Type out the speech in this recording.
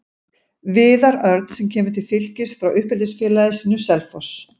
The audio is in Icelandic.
Viðar Örn sem kemur til Fylkis frá uppeldisfélagi sínu, Selfoss.